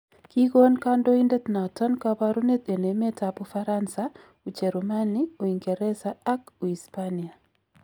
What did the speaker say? Kigon kandoindet noton kabarunet en emet ab Ufaransa, Ujerumani, Uingereza ak Uhispania.